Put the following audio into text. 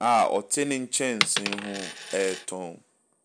a ɔte ne nkyɛnse ho a ɔretɔn.